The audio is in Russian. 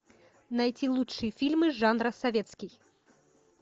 найти лучшие фильмы жанра советский